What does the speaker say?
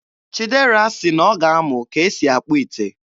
Chidera sị na ọ ga-amụ ka e si akpụ ite